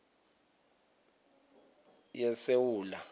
yesewula